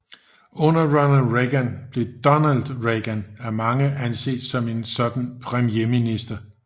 Under Ronald Reagan blev Donald Regan af mange anset som en sådan premierminister